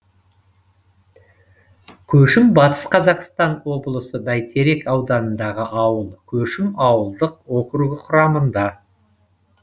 көшім батыс қазақстан облысы бәйтерек ауданындағы ауыл көшім ауылдық округі құрамында